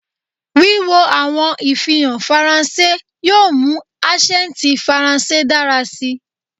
Wiwo awọn ifihan Faranse yoo mu asẹnti Faranse dara si